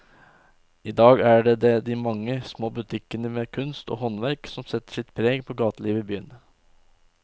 I dag er det de mange små butikkene med kunst og håndverk som setter sitt preg på gatelivet i byen.